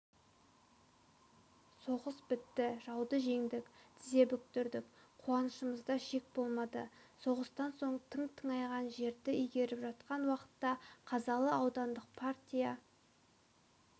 соғыс бітті жауды жеңдік тізе бүктірдік қуанышымызда шек болмады соғыстан соң жылы тың тыңайған жерді игеріп жатқан уақытта қазалы аудандық партия